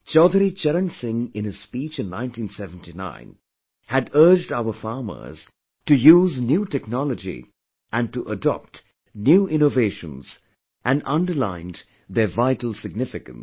Chaudhari Charan Singh in his speech in 1979 had urged our farmers to use new technology and to adopt new innovations and underlined their vital significance